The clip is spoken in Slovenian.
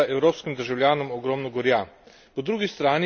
Kriza je prinesla evropskim državljanom ogromno gorja.